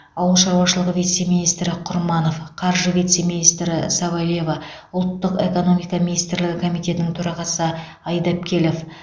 ауыл шаруашылығы вице министрі құрманов қаржы вице министрі савельева ұлттық экономика министрлігі комитетінің төрағасы айдапкелов